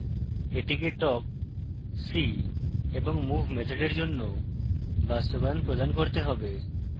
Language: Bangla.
এটিকে talk see এবং move মেথডের জন্য বাস্তবায়ন প্রদান করতে হবে